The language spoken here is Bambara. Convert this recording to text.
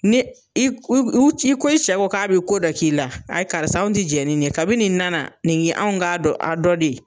Ni i k u uu c'i ko i cɛ ko k'a bɛ ko dɔ k'i la, ayi karisa anw ti jɛn ni nin ye. Kabi nin nana, nin ye anw k'a dɔ a dɔ de.